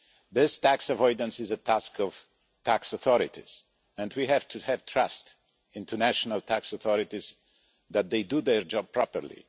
This tax avoidance is a task of tax authorities, and we have to have trust in the national tax authorities that they do their job properly.